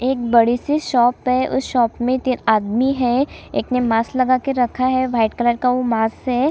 एक बड़ी- सी शॉप है उस शॉप में तीन आदमी है एक ने मास्क लगा के रखा है व्हाइट कलर का वो मास्क हैं।